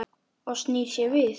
Og snýr sér við.